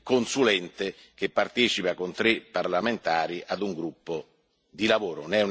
consulente che partecipa con tre parlamentari ad un gruppo di lavoro.